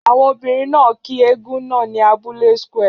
Àwọn obìnrin náà kí eégún náà ní abúlé square.